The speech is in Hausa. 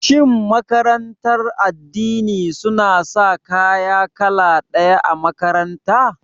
Shin makarantar addini suna sa kaya kala ɗaya a makaranta?